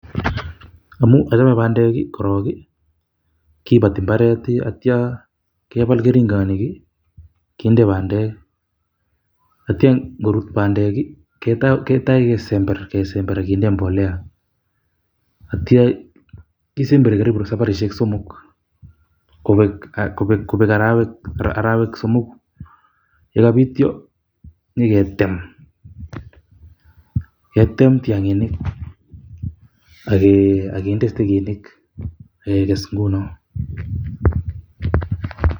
Amuu achame bandek korok i kibati mbaret atyo kebal keringonik kinde bandek, atyo ngorut bandek ketoi kesember akinde mbolea. Atyo kisemberi karibu saparishek somok kobek arawek somoku, yekobityo nyiketem ketem tiang'inik ak kinde stegisyek.